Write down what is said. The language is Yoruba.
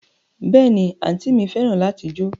Béèni, anti mi feran lati jo